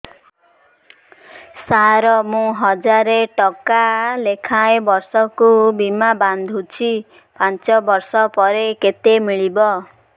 ସାର ମୁଁ ହଜାରେ ଟଂକା ଲେଖାଏଁ ବର୍ଷକୁ ବୀମା ବାଂଧୁଛି ପାଞ୍ଚ ବର୍ଷ ପରେ କେତେ ମିଳିବ